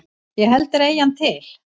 Ég held að þeir eigi hann til.